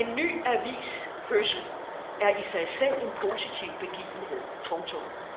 En ny avis fødsel er i sig selv en positiv begivenhed. punktum